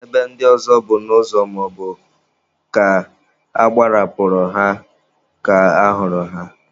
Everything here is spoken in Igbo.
Ebe ndị ọzọ bụ n'ụzọ maọbụ ka agbarapụrụ ha ka a hụrụ ha.